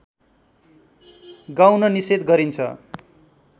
गाउन निषेध गरिन्छ